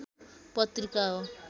पत्रिका हो